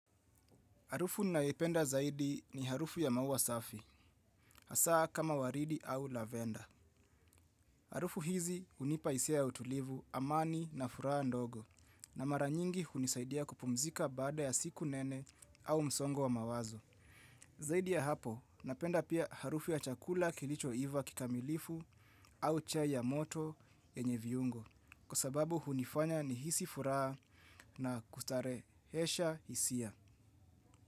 Harufu naipenda zaidi ni harufu ya maua safi, hasaa kama waridi au lavenda. Harufu hizi unipa isia ya utulivu amani na furaha ndogo na mara nyingi hunisaidia kupumzika baada ya siku nene au msongo wa mawazo. Zaidi ya hapo, napenda pia harufu ya chakula kilicho iva kikamilifu au chai ya moto yenye viungo kwa sababu unifanya nihisi furaha na kustarehesha hisia.